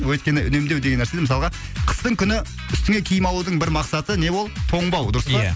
өйткені үнемдеу деген нәрсенің мысалға қыстың күні үстіңе киім алудың бір мақсаты не ол тоңбау дұрыс па ия